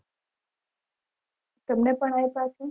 તમને પન આપીય છે